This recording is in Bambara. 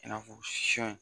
I n'a fɔ